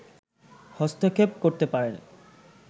হস্তক্ষেপ করতে পারে